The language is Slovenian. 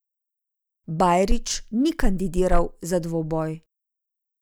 Bajrić ni kandidiral za dvoboj.